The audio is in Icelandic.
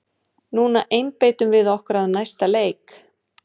Núna einbeitum við okkur að næsta leik!